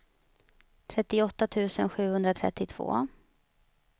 trettioåtta tusen sjuhundratrettiotvå